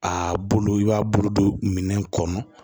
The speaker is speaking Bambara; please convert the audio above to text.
A bolo i b'a bolo don minɛn kɔnɔ